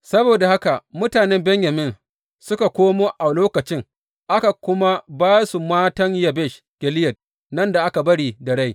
Saboda haka mutanen Benyamin suka komo a lokacin aka kuma ba su matan Yabesh Gileyad nan da aka bari da rai.